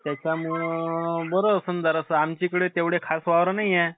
त्याच्यामुळं बरं होत ना जरासं आमच्या इकदे तेव्हडे खास वावर नाहीये.